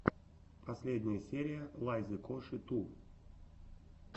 последняя серия лайзы коши ту